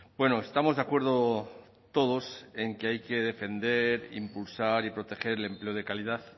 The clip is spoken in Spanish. bueno estamos de acuerdo todos en que hay que defender impulsar y proteger el empleo de calidad